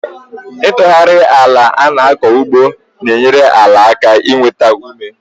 Itughari àlà ana-aku ugbo n'enyere àlà aka i nwétá ume